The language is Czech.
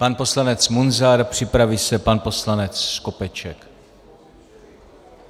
Pan poslanec Munzar, připraví se pan poslanec Skopeček.